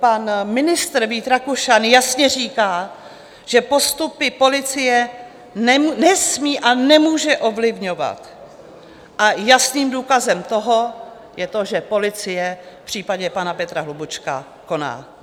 Pan ministr Vít Rakušan jasně říká, že postupy policie nesmí a nemůže ovlivňovat, a jasným důkazem toho je to, že policie v případě pana Petra Hlubučka koná.